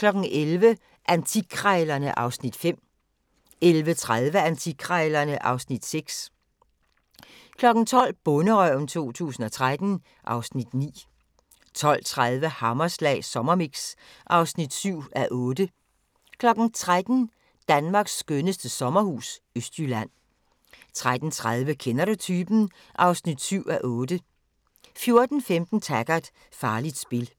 11:00: Antikkrejlerne (Afs. 5) 11:30: Antikkrejlerne (Afs. 6) 12:00: Bonderøven 2013 (Afs. 9) 12:30: Hammerslag Sommermix (7:8) 13:00: Danmarks skønneste sommerhus – Østjylland 13:30: Kender Du Typen? (7:8) 14:15: Taggart: Farligt spil